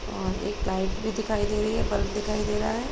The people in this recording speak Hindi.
अ एक लाइट बी दिखायी दे रही है ब्लब दिखाई दे रहा है।